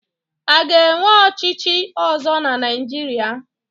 A ga-enwe ọchịchị ọzọ na Naịjirịa?